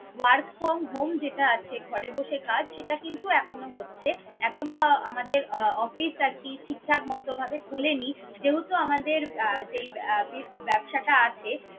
work from home যেটা আছে ঘরে বসে কাজ সেটা কিন্তু এখনো হচ্ছে। এখনো আহ আমাদের আহ office আর কি ঠিকঠাক মত ভাবে খোলেনি, যেহেতু আমাদের আহ যেই আহ ব্য~ ব্যবসাটা আছে